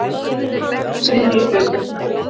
III hluti